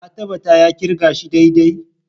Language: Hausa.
Ka tabbata ya kirga shi daidai?